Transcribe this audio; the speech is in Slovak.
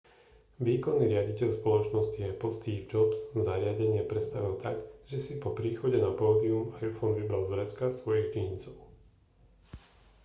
výkonný riaditeľ spoločnosti apple steve jobs zariadenie predstavil tak že si po príchode na pódium iphone vybral z vrecka svojich džínsov